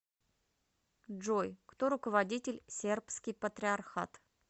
джой кто руководитель сербский патриархат